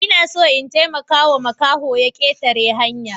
Ina son in taimakawa makahon ya ketare hanya.